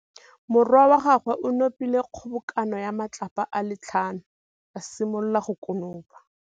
Morwa wa gagwe o nopile kgobokanô ya matlapa a le tlhano, a simolola go konopa.